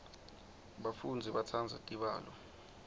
bafundzi batsandza tibalo